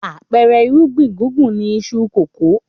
Àpẹẹrẹ irúgbìn gbùngbùn ni iṣu kòkó.